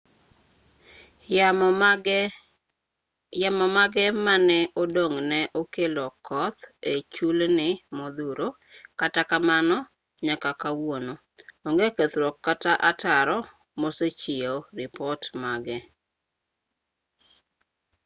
yamo mage mane odong' ne okelo koth e chulni modhuro kata kamano nyaka kawuono onge kethruok kata ataro mosechiw ripot mage